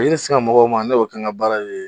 O ye ne sinka mɔgɔw ma ne y'o kɛ an ka baara ye.